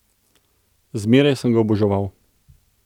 Zmeraj sem ga oboževal.